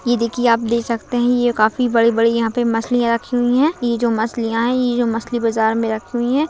ये देखिये आप देख सकते है ये काफी बड़ी-बड़ी यहा पे मछलिया रखी हुई है ये जो मछलिया है ये जो मछ्ली बाजार मे रखी हुई है।